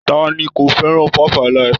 Ta ni kò fẹ́ràn 5-alive?